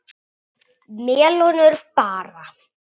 Melónur bara!